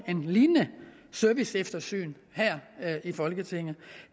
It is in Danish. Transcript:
lignende serviceeftersyn her i folketinget